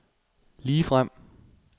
ligefrem